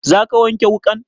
Za ka wanke wuƙan?